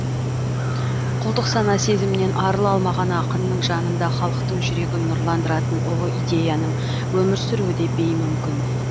құлдық сана сезімнен арыла алмаған ақынның жанында халықтың жүрегін нұрландыратын ұлы идеяның өмір сүруі де беймүмкін